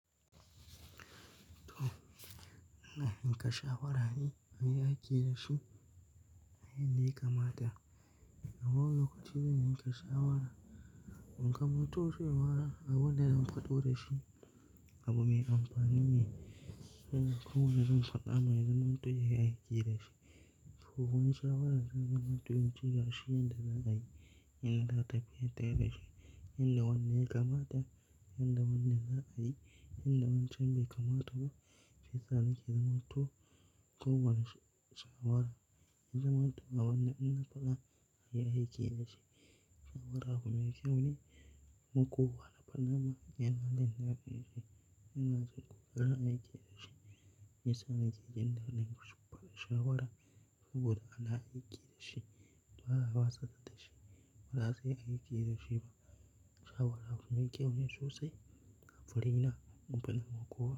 To, ina in ka shawara ne? An yi aiki da su, inda ya kamata. Kaman lokacin da muke shawara, in kamato cewa abunda zan faɗo da shi, abu mai amfani ne. Ko wanda zan faɗa mana zan mutu ya aiki da shi. Ko wani shawara zan min mutu in ci gashi inda za a yi, inda za ta biya tayi da shi, inda wanne ya kamata, inda wanne za a yi, inda wancan bai kamata ba. Fitan yake zaman to, to wani sha-shawara. Yanzu ma to, abunda ina faɗa an yi aiki da shi. Shawara abu mai kyau ne. Makuwa na faɗa mana yanayin da za a yi shi. Ina so ku ƙara aiki da shi. Fitan yake jin dandalin ku faɗi shawara saboda ana aiki da shi. Ba'a, ba'a tsada da shi. Ba za a yi aiki da shi ba. Shawara abu mai kyau ne sosai. Farai na, ku faɗi makuwa.